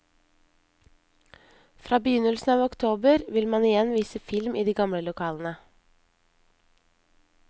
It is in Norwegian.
Fra begynnelsen av oktober vil man igjen vise film i de gamle lokalene.